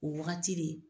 O wagati de